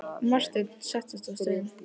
Marteinn settist á stein.